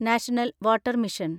national water mission